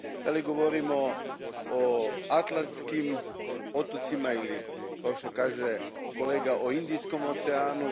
Da li govorimo o Atlantskim otocima ili, kao što kaže kolega, o Indijskom oceanu?